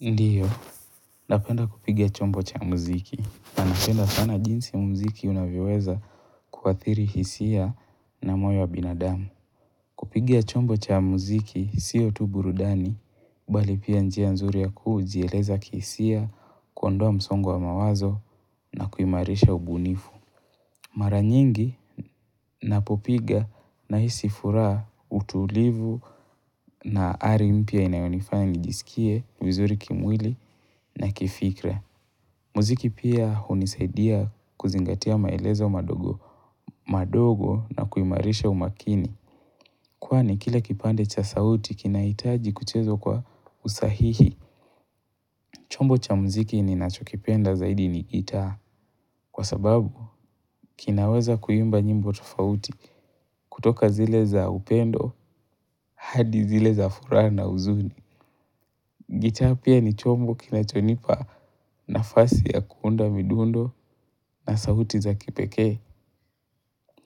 Ndiyo, napenda kupiga chombo cha muziki. Na napenda sana jinsi muziki unavyoweza kuathiri hisia na moyo wa binadamu. Kupigia chombo cha muziki, siyo tu burudani, bali pia njia nzuri ya kujieleza kihisia, kuondoa msongo wa mawazo na kuimarisha ubunifu. Mara nyingi, napopiga nahisi furaha, utulivu na ari mpya inayonifanya nijisikie vizuri kimwili na kifikra. Muziki pia hunisaidia kuzingatia maelezo madogo madogo na kuimarisha umakini. Kwani kila kipande cha sauti kinahitaji kuchezwa kwa usahihi. Chombo cha mziki ninachokipenda zaidi ni gitaa. Kwa sababu, kinaweza kuimba nyimbo tofauti kutoka zile za upendo hadi zile za furaha na huzuni. Gitaa pia ni chombo kinachonipa nafasi ya kuunda midundo na sauti za kipekee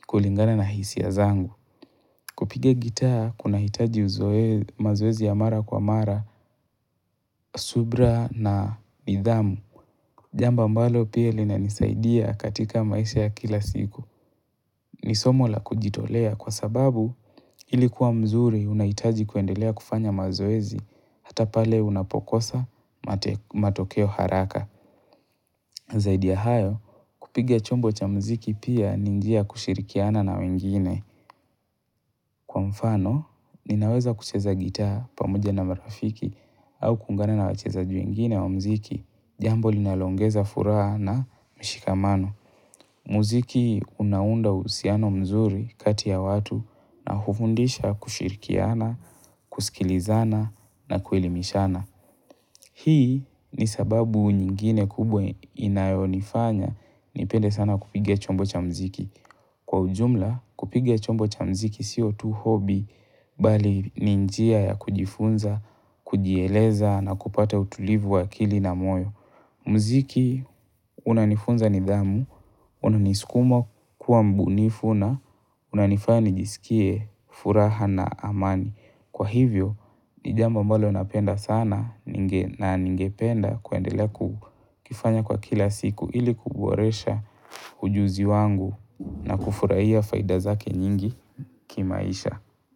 kulingana na hisia zangu. Kupiga gitaa kunahitaji mazoezi ya mara kwa mara, subra na nidhamu. Jambo ambalo pia linanisaidia katika maisha ya kila siku. Ni somo la kujitolea kwa sababu ili kuwa mzuri unahitaji kuendelea kufanya mazoezi hata pale unapokosa matokeo haraka. Zaidi ya hayo, kupiga chombo cha mziki pia ni njia ya kushirikiana na wengine. Kwa mfano, ninaweza kucheza gitaa pamoja na marafiki au kuungana na wachezaji wengine wa mziki. Jambo linaloongeza furaha na mshikamano. Mziki unaunda uhusiano mzuri kati ya watu na hufundisha kushirikiana, kusikilizana na kuelimishana. Hii ni sababu nyingine kubwa inayonifanya nipende sana kupiga chombo cha mziki. Kwa ujumla kupiga chombo cha mziki siyo tu hobby bali ni njia ya kujifunza, kujieleza na kupata utulivu wa akili na moyo. Mziki unanifunza nidhamu, unaniskuma kuwa mbunifu na unanifanya nijisikie furaha na amani. Kwa hivyo, ni jambo ambalo napenda sana na ningependa kuendele kukifanya kwa kila siku ili kuboresha ujuzi wangu na kufurahia faida zake nyingi kimaisha.